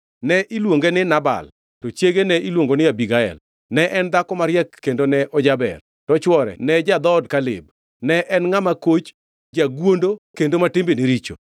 Ne iluonge ni Nabal to chiege ne iluongo ni Abigael. Ne en dhako mariek kendo ne ojaber, to chwore ne ja-dhood Kaleb, ne en ngʼama koch, jagwondo kendo ma timbene richo.